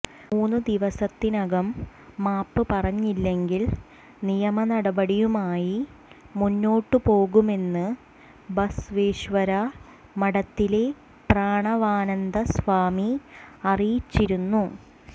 മൂന്ന് ദിവസത്തിനകം മാപ്പ് പറഞ്ഞില്ലെങ്കിൽ നിയമനടപടിയുമായി മുന്നോട്ട് പോകുമെന്ന് ബസവേശ്വര മഠത്തിലെ പ്രാണവാനന്ദ സ്വാമി അറിയിച്ചിരുന്നു